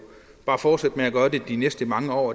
bare fortsætte med at gøre de næste mange år